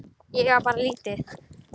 Ég á bara lítið.